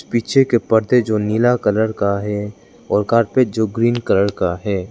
पीछे के पर्दे जो नीला कलर का है और कार्पेट जो ग्रीन कलर का है।